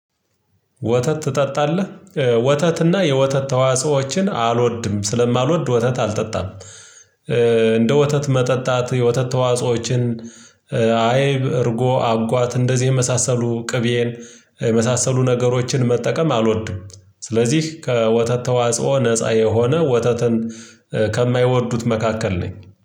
ወተት ትጠጣለህ ወተትና የወተት ተዋጽኦዎችን አልወድም ስለማልወድ ወተት አልጠጣም። እንደ ወተት መጠጣት የወተት ተዋጾዎችን አይብ እርጎ አጓት እንደዚህ የመሳሰሉ ቅቤን የመሳሰሉ ነገሮችን መጠቀም አልወድም። ስለዚህ ከወተት ተዋጽኦ ነፃ የሆነ ወተትን ከማይወዱት መካከል ነኝ